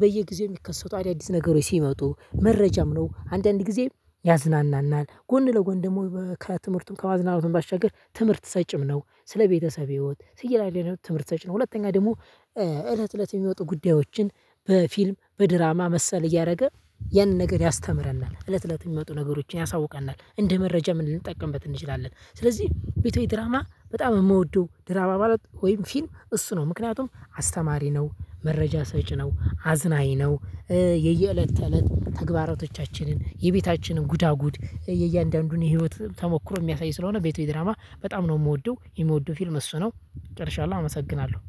በየጊዜው የሚከሰቱ አዳዲስ ነገሮች ሲመጡ መረጃም ነው አንዳንዴ ጊዜ ያዝናናናል ጎን ለጎን ደግሞ በክራት ትምህርትም ከማዝናናትም ባሻገር ትምህርት ሰጭም ነው ስለ ቤተሰብ ህይወት ስለ ተለያየ ትምህርት ሰጭ ነው። ሁለተኛ ደግሞ እለት እለት የሚወጡ ጉዳዮችን በፊልም በድራማ መሰል እያደረገ ያንን ነገር ያስተምረናል እለት እለት የሚመጡ ነገሮችን ያሳውቀናል እንደ መረጃም ልንጠቀምበት እንችላለን ስለዚህ ቤቶች ድራማ በጣም የምወደው ድራማ ማለት ወይም ፊልም እሱ ነው ምክንያቱም አስተማሪ ነው መረጃ ሰጪ ነው አዝናኝ ነው። የየእለት ተእለት ተግባራቶቻችንን የቤታችንን ጉዳጉድ የእያንዳንዱን የህይወት ተሞክሮ የሚያሳይ ስለሆነ ቤቶች ድራማ በጣም ነው የምወደው የምወደው ፊልም እሱ ነው። ጨርሻለሁ አመሰግናለሁ